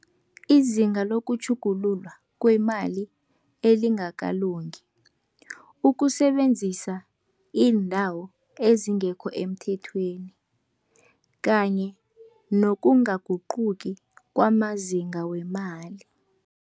Izinga lokutjhugululwa kwemali elingakalungi. Ukusebenzisa iindawo ezingekho emthethweni kanye nokungaguquki kwamazinga wemali.